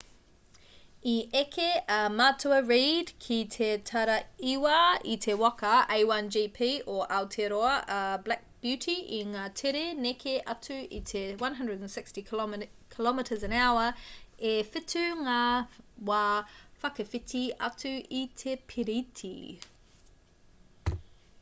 i eke a matua reid ki te taraiwa i te waka a1gp o aotearoa a black beauty i ngā tere neke atu i te 160km/h e whitu ngā wā whakawhiti atu i te piriti